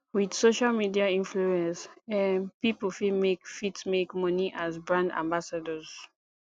with social media influence um pipo fit make fit make money as brand ambassadors